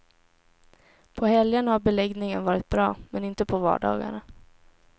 På helgerna har beläggningen varit bra, men inte på vardagarna.